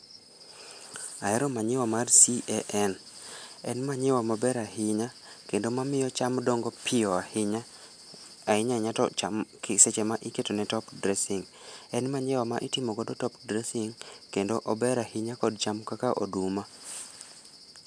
Ahero manyiwa mar CAN en manyiwa maber ahinya kendo mamiyo cham dongo piyo ahinya, ahinya ahinya to cham seche ma iketo ne top dressing[c].En manyiwa mitimo nego top dressing kendo ober ahinya kod cham kaka oduma